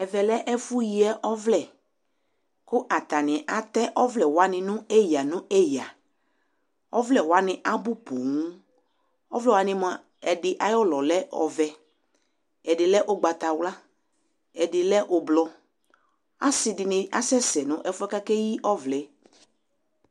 ɛvɛ lɛ ɛfo yi ɔvlɛ ko atani atɛ ɔvlɛ wani no eya no eya ɔvlɛ wani abo ponŋ ɔvlɛ wani moa ɛdi ayi òlɔ lɛ ɔvɛ ɛdi lɛ ugbata wla ɛdi lɛ ublɔ ase di ni asɛ sɛ no ɛfoɛ ko akeyi ɔvlɛ yɛ